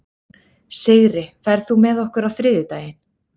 Sigri, ferð þú með okkur á þriðjudaginn?